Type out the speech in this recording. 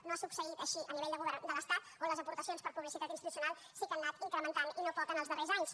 no ha succeït així a nivell de govern de l’estat on les aportacions per publicitat institucional sí que s’han anat incrementant i no poc en els darrers anys